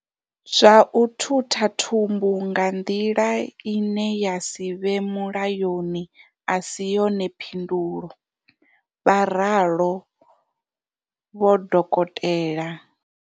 Zwa u thutha thumbu nga nḓila ine ya si vhe mulayoni a si yone phindulo, vha ralo Dokotela.